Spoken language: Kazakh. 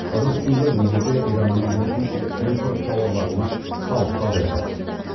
ыдыс сынды өзге де ираннан келетін импорт тауарларына салықты азайтады